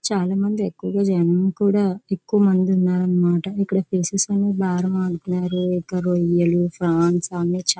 చాలా మంది ఎక్కువగా జనం కూడా ఎక్కువమంది ఉన్నారన్నమాట. ఇక్కడ ఫిషెస్ అనేవి బీరం ఆడుతున్నారు. ఇంకా రొయ్యలు ఫ్రాన్స్ అన్నీ చాలా--